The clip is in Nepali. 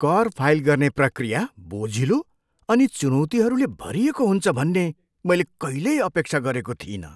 कर फाइल गर्ने प्रक्रिया बोझिलो अनि चुनौतीहरूले भरिएको हुन्छ भन्ने मैले कहिल्यै अपेक्षा गरेको थिइनँ।